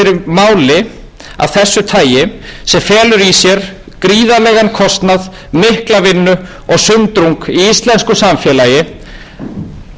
sér gríðarlegan kostnað mikla vinnu og sundrung í íslensku samfélagi á sama tíma og heimili og